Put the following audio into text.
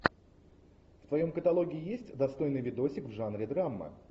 в твоем каталоге есть достойный видосик в жанре драма